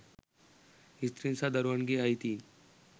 ස්ත්‍රීන් සහ දරුවන්ගේ අයිතීන්